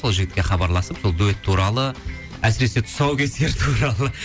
сол жігітке хабарласып сол дуэт туралы әсіресе тұсаукесер туралы